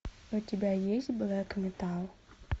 у тебя есть блэк металл